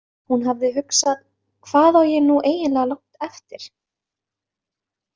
Hún hafði hugsað: Hvað á ég nú eiginlega langt eftir?